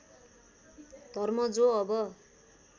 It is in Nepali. धर्म जो अब